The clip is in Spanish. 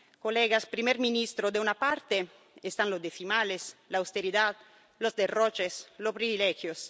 Señorías, señor primer ministro, en una parte están los decimales, la austeridad, los derroches, los privilegios